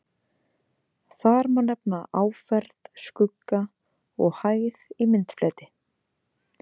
Þar má nefna áferð, skugga og hæð í myndfleti.